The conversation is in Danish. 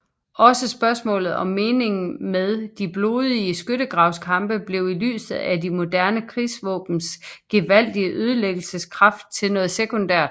Også spørgsmålet om meningen med de blodige skyttegravskampe blev i lyset af de moderne krigsvåbens gevaldige ødelæggelseskraft til noget sekundært